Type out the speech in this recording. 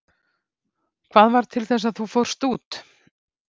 Hvað varð til þess að þú fórst út?